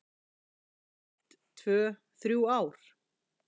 Ég fresta því að fara í skóla í eitt, tvö, þrjú ár.